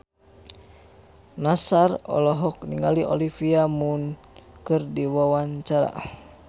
Nassar olohok ningali Olivia Munn keur diwawancara